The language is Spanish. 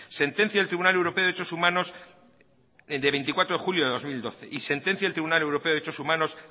sentencia del tribunal europeo de derechos humanos de veinticuatro de julio de dos mil doce y sentencia del tribunal europeo de derechos humanos